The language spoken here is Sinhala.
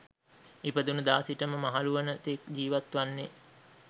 ඉපදුණු දා සිට මහලු වන තෙක් ජිවත්වන්නේ.